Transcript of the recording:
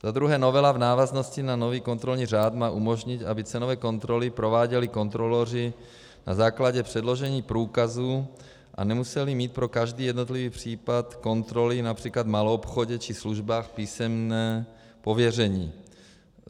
Za druhé novela v návaznosti na nový kontrolní řád má umožnit, aby cenové kontroly prováděli kontroloři na základě předložení průkazů a nemuseli mít pro každý jednotlivý případ kontroly například v maloobchodě či službách písemné pověření.